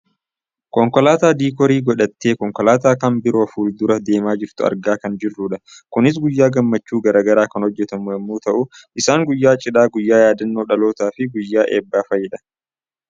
konkolaataa dikoorii godhattee konkolaataa kab biroo fuuldura deemaa jirtu argaa kan jirrudha. kunis guyyaa gammachuu gara garaa kan hojjatamu yoo ta'u isaani guyyaa cidhaa, guyyaa yaaddannoo dhalootaa fi guyyaa eebbaa fa'idha.